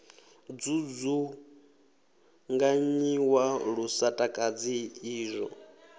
dzudzunganyiwa lu sa takadzi izwo